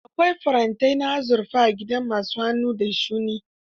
Akwai farantin azurfa a gidan ma su hannu da shuni.